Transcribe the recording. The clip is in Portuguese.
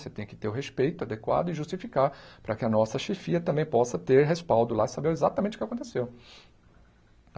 Você tem que ter o respeito adequado e justificar para que a nossa chefia também possa ter respaldo lá e saber exatamente o que aconteceu.